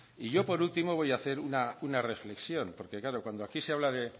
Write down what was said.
y yo por último voy a hacer una reflexión porque claro cuando aquí se habla de